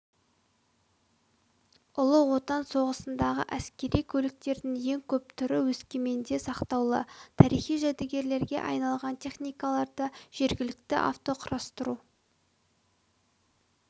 ұлы отан соғысындағы әскери көліктердің ең көп түрі өскеменде сақтаулы тарихи жәдігерге айналған техникаларды жергілікті автоқұрастыру